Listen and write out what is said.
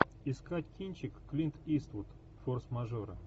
искать кинчик клинт иствуд форс мажоры